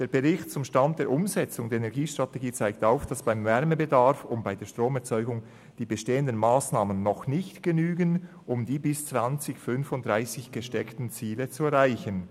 «Der Bericht [zum Stand der Umsetzung der Energiestrategie] zeigt auf, dass beim Wärmebedarf und bei der Stromerzeugung die bestehenden Massnahmen noch nicht genügen, um die bis 2035 gesteckten Ziele zu erreichen.